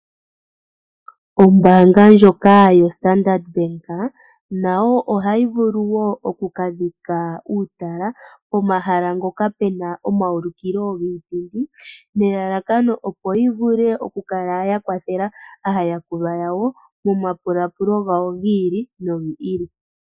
Ombaanga ndjoka yoStandard Bank nayo oha yi vulu wo oku kadhika uutala pomahala ngoka pena omaulikilo giipindi. Nelalakano opo yi vule oku kala ya kwathela aayakulwa yawo mo mapulaapulo gawo gi ili nogi ili.